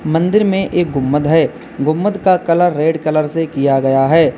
मंदिर में एक गुम्बद है गुम्बद का कलर रेड कलर से किया गया है।